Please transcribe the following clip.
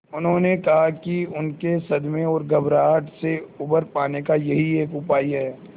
उन्होंने कहा कि उनके सदमे और घबराहट से उबर पाने का यही एक उपाय है